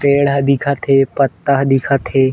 पेड़ ह दिखत हे पत्ता ह दिखत हे।